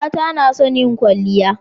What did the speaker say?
mata nason yin kwalliya